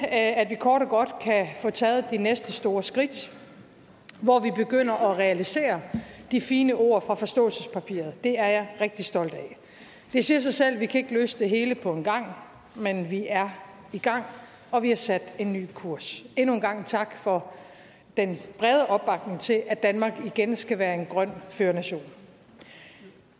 at vi kort og godt kan få taget de næste store skridt hvor vi begynder at realisere de fine ord fra forståelsespapiret det er jeg rigtig stolt af det siger sig selv at vi ikke kan løse det hele på en gang men vi er i gang og vi har sat en ny kurs endnu en gang tak for den brede opbakning til at danmark igen skal være en grøn førernation